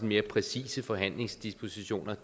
mere præcise forhandlingsdispositioner